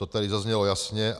To tady zaznělo jasně.